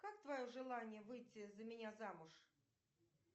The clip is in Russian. как твое желание выйти за меня замуж